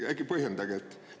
Äkki põhjendate seda?